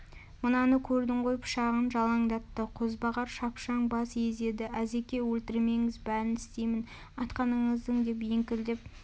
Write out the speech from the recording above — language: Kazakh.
мынаны көрдің ғой пышағын жалаңдатты қозбағар шапшаң бас изеді әзеке өлтірмеңіз бәрін істеймін айтқаныңыздың деп еңкілдеп